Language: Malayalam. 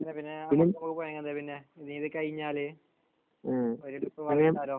പിന്നെ പിന്നെ എന്താണ് പിന്നെ ഇനി ഇത് കഴിഞ്ഞാൽ പരുപാടി ഇപ്പോൾ